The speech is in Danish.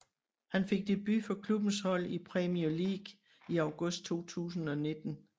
Han fik debut for klubbens hold i Premier League i august 2019